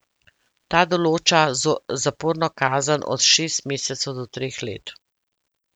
Ta določa zaporno kazen od šestih mesecev do treh let.